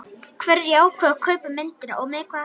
Hverjir ákváðu kaup á myndinni og með hvaða hætti?